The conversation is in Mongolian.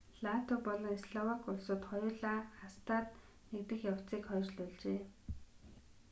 латви болон словак улсууд хоёулаа acta-д нэгдэх явцыг хойшлуулжээ